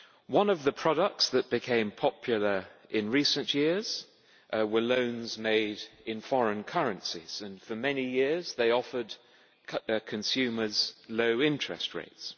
One of the products that became popular in recent years was loans made in foreign currencies, and for many years they offered consumers low interest rates.